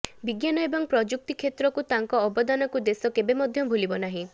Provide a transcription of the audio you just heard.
ବିଜ୍ଞାନ ଏବଂ ପ୍ରଯୁକ୍ତି କ୍ଷେତ୍ରକୁ ତାଙ୍କ ଅବଦାନକୁ ଦେଶ କେବେ ମଧ୍ୟ ଭୂଲିବ ନାହିଁ